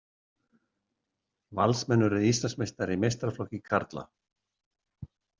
Valsmenn urðu Íslandsmeistarar í meistaraflokki karla.